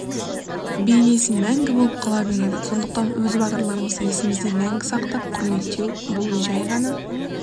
бейнесі мәңгі болып қала береді сондықтан өз батырларымызды есімізде мәңгі сақтап құрметтеу бұл жай ғана